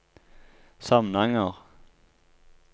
Samnanger